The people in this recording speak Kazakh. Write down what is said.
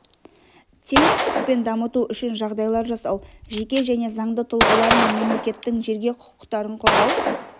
тең құқықпен дамыту үшін жағдайлар жасау жеке және заңды тұлғалар мен мемлекеттің жерге құқықтарын қорғау